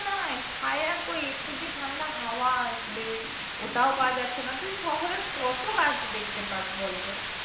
নাই ছায়া কই? একটু যে ঠাণ্ডা হাওয়া আসবে ওটাও পাওয়া যাচ্ছে না তুই শহরে কত গাছ দেখতে পাস বলতো?